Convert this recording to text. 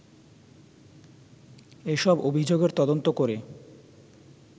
এ সব অভিযোগের তদন্ত করে